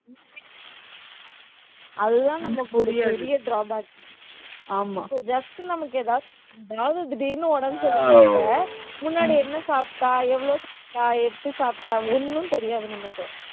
அதுதான் நமக்கு ஒரு பெரிய drawbackjust நமக்கு ஏதாவது அதாவது திடீர்ன்னு உடம்பு சரியில்லைன்னா கூட முன்னாடி என்ன சாப்பிட்டா? எவ்வளவு எப்படி சாப்பிட்டா? ஒண்ணும் தெரியாது